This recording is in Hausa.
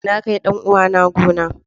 Na kai dan uwana gona.